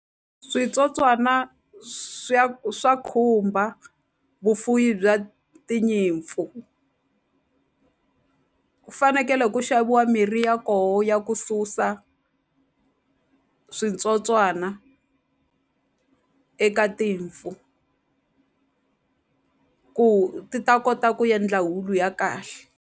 Switsotswana swa khumba vufuwi bya tinyimpfu ku fanekele ku xaviwa mirhi ya koho ya ku susa switsotswana eka timpfu ku ti ta kota ku yendla wulu ya kahle.